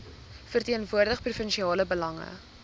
verteenwoordig provinsiale belange